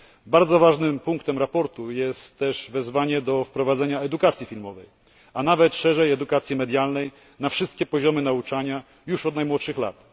Bardzo ważnym punktem sprawozdania jest też wezwanie do wprowadzenia edukacji filmowej, a nawet szerzej edukacji medialnej na wszystkie poziomy nauczania już od najmłodszych lat.